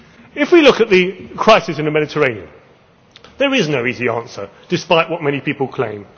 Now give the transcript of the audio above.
If we look at the crisis in the Mediterranean, there is no easy answer, despite what many people claim.